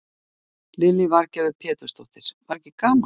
Lillý Valgerður Pétursdóttir: Var ekki gaman?